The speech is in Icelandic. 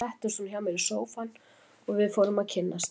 Svo settist hún hjá mér í sófann og við fórum að kynnast.